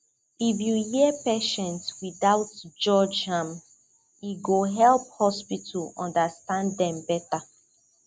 if you hear patient without judge am e go help hospital understand dem better